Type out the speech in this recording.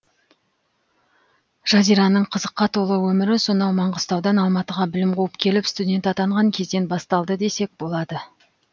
жазираның қызыққа толы өмірі сонау маңғыстаудан алматыға білім қуып келіп студент атанған кезден басталды десек болады